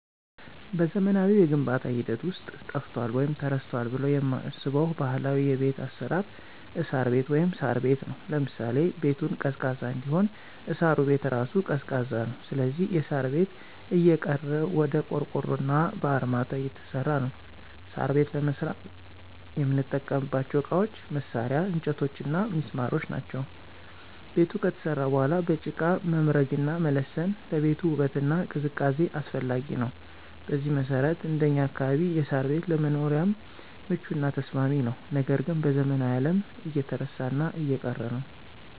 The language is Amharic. በዘመናዊው የግንባታ ሂደት ውስጥ ጠፍቷል ወይም ተረስቷል ብለው የማስበው ባህላዊ የቤት አሰራር እሳር ቤት(ሳር ቤት) ነው። ለምሳሌ -ቤቱን ቀዝቃዛ እንዲሆን እሳሩ ቤት እራሱ ቀዝቃዛ ነው ስለዚህ የሳር ቤት እየቀረ ወደ ቆርቆሮና በአርማታ እየተሰራ ነው። ሳር ቤት ለመስራት የምንጠቀምባቸው እቃዎች፣ መሳርያ፣ እንጨቶችና ሚስማሮች ናቸው። ቤቱ ከተሰራ በኋላ በጭቃ መምረግና መለሰን ለቤቱ ውበትና ቅዝቃዜ አስፈላጊ ነው። በዚህ መሰረት እንደኛ አካባቢ የሳር ቤት ለመኖሪያም ምቹና ተስማሚ ነው ነገር ግን በዘመናዊው አለም እየተረሳና እየቀረ ነው።